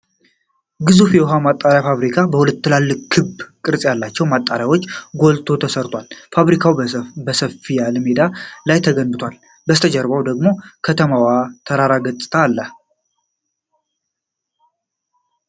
ግዙፍ የውሃ ማጣሪያ ፋብሪካ በሁለት ትልልቅ ክብ ቅርጽ ያላቸው ማጠራቀሚያዎች ጎልቶ ተሰርቷል። ፋብሪካው በሰፋ ያለ ሜዳ ላይ ተገንብቷል፤ ከበስተጀርባው ደግሞ ከተማዋና የተራሮች ገጽታ አለ።